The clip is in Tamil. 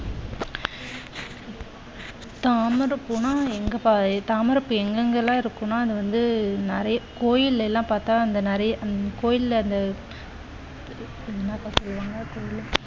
தாமரைப் பூனா எங்க தாமரைப்பூ எங்கெங்கெல்லாம் இருக்கு அது வந்து நிறைய கோவில்கள் எல்லாம் பார்த்தா அங்கே நிறைய கோவில்ல அது என்னப்பா சொல்லுவாங்க